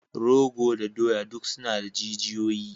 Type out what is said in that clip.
Rogo da doya duk suna da jijiyoyi.